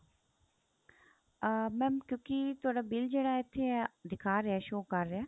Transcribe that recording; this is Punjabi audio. ਅਹ mam ਕਿਉਂਕਿ ਤੁਹਾਡਾ bill ਜਿਹੜਾ ਇੱਥੇ ਦਿਖਾ ਰਿਹਾ show ਕ਼ਰ ਰਿਹਾ